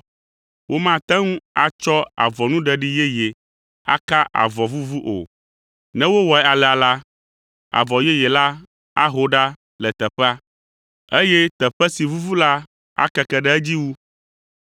“Womate ŋu atsɔ avɔnuɖeɖi yeye aka avɔ vuvu o. Ne wowɔe alea la, avɔ yeye la aho ɖa le teƒea, eye teƒe si vuvu la akeke ɖe edzi wu.